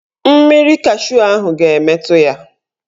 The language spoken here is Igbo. Mmiri cashu ahụ ga-emetu ya.